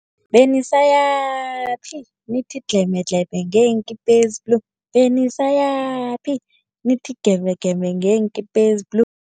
Benisayaphi nithi dlhemedlheme ngeenkipa ezi-blue, benisayaphi nithi gemegeme ngeenkipa ezi-blue.